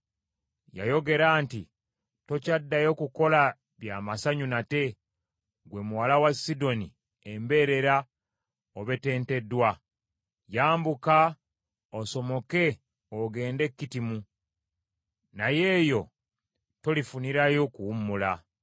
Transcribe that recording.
Yayogera nti, “Tokyaddayo kukola bya masanyu nate, ggwe muwala wa Sidoni embeerera obetenteddwa. Yambuka osomoke ogende e Kittimu, naye nayo tolifunirayo kuwummula.”